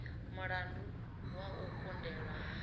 mulandu wa u kundelwa ha